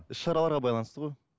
іс шараларға байланысты ғой